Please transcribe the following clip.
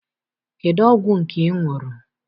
Kedụ ọgwụ nke ị ṅụrụ?